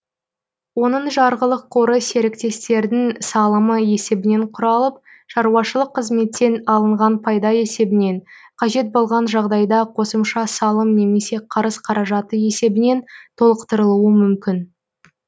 оның жарғылық қоры серіктестердің салымы есебінен құралып шаруашылық қызметтен алынған пайда есебінен қажет болған жағдайда қосымша салым немесе қарыз қаражаты есебінен толықтырылуы мүмкін